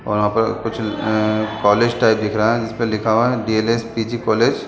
और यहाँ पर कुछ अ कॉलेज टाइप दिख रहा है जिसपे लिखा हुआ है डी.एल.एस. पी. G college.